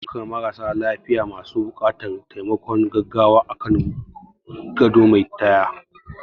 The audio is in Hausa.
Ana ɗaukan marasa lafiya masu buƙatar taimakon gaggawa akan gado mai taya